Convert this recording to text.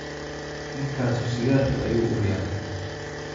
Ninkaasu sigaarka ayuu uriyaa